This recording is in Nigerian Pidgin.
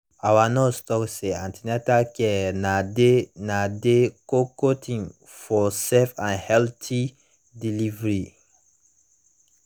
our nurse talk say an ten atal care na dey na dey koko tin for safe and healthy delivery